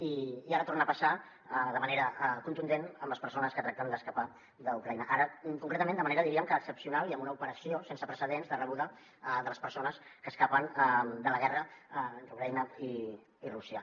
i ara torna a passar de manera contundent amb les persones que tracten d’escapar d’ucraïna ara concretament de manera diríem que excepcional i amb una operació sense precedents de rebuda de les persones que escapen de la guerra entre ucraïna i rússia